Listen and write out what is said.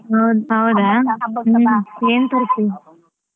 ಹೌದಾ ಹ್ಮ್ ಏನ್ ಕೊಡ್ತಿ?